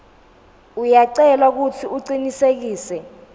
uyacelwa kutsi ucinisekise